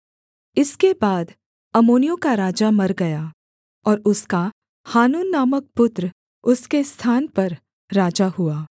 इसके बाद अम्मोनियों का राजा मर गया और उसका हानून नामक पुत्र उसके स्थान पर राजा हुआ